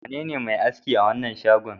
Wanene mai aski a wannan shagon?